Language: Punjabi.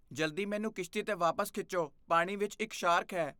ਜਲਦੀ ਮੈਨੂੰ ਕਿਸ਼ਤੀ 'ਤੇ ਵਾਪਸ ਖਿੱਚੋ, ਪਾਣੀ ਵਿੱਚ ਇੱਕ ਸ਼ਾਰਕ ਹੈ।